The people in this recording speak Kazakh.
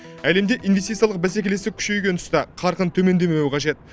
әлемде инвестициялық бәсекелестік күшейген тұста қарқын төмендемеуі қажет